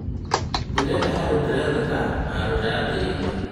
Ndĩrenda handũ ndĩrendeka na ndĩratĩithio